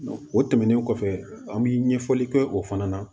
o tɛmɛnen kɔfɛ an bi ɲɛfɔli kɛ o fana na